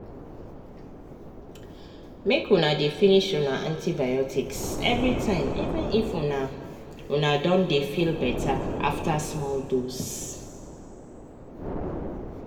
make una dey finish una antibiotics everytime even if una una don dey feel better after small dose